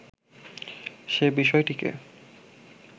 সে বিষয়টিকে